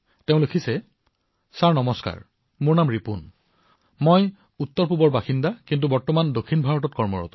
তেওঁ এইদৰে লিখিছে নমস্কাৰ মহাশয় মোৰ নাম ৰিপুণমই উত্তৰ পূৰ্বাঞ্চলৰ বাসিন্দা যদিও এতিয়া মই দক্ষিণত কাম কৰো